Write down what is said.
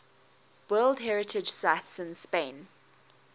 world heritage sites in spain